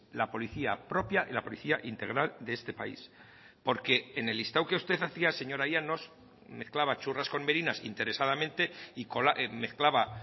la policía propia y la policía integral de este país porque en el listado que usted hacía señora llanos mezclaba churras con merinas interesadamente y mezclaba